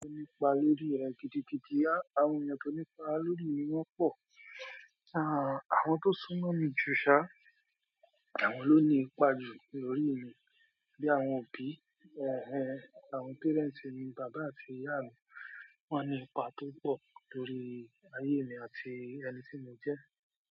Ẹni pa lórí rẹ̀ gidigidi. Àwọn ènìyàn tó nípa lórí mi wọ́n pọ̀. Àwọn tó súnmọ́ mi juṣá, àwọn ló nípa jù lórí mi. Bí i àwọn òbí, ẹhe, àwọn parents mi, bàbá àti ìyá mi. Wọ́n nípa púpọ̀ lórí ayé mi àti ẹni tí mo jẹ́.